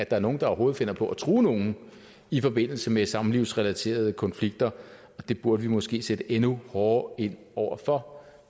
er nogle der overhovedet finder på at true nogen i forbindelse med samlivsrelaterede konflikter og det burde vi måske sætte endnu hårdere ind over for